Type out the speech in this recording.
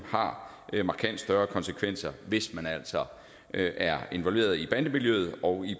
har markant større konsekvenser hvis man altså er involveret i bandemiljøet og i